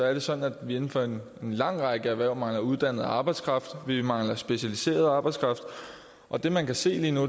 er det sådan at vi inden for en lang række erhverv mangler uddannet arbejdskraft vi mangler specialiseret arbejdskraft og det man kan se lige nu